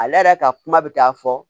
Ale yɛrɛ ka kuma bɛ taa fɔ